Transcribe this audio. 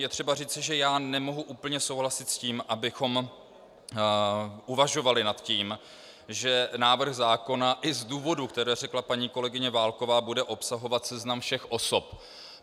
Je třeba říci, že já nemohu úplně souhlasit s tím, abychom uvažovali nad tím, že návrh zákona, i z důvodů, které řekla paní kolegyně Válková, bude obsahovat seznam všech osob.